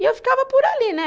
E eu ficava por ali, né?